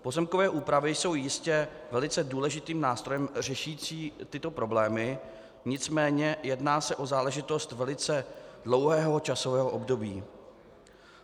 Pozemkové úpravy jsou jistě velice důležitým nástrojem řešícím tyto problémy, nicméně jedná se o záležitost velice dlouhého časového období.